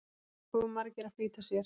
Of margir að flýta sér